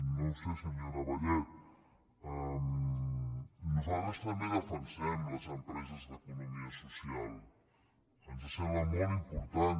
no ho sé senyora vallet nosaltres també defensem les empreses d’economia social ens sembla molt important